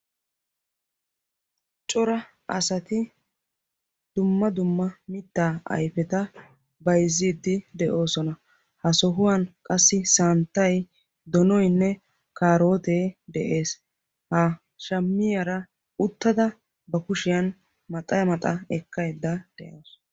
coraa asati dumma dumma mittaa ayfeta bayzziidi de'oosna. ha sohuwan qassi santtay, donoynne kaarotee de'ees. qassi ha shammiyaara uttada ba kushiyan maxxa maxxa ekkaydda dawus.